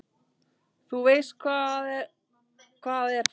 Þú veist, hvað er það?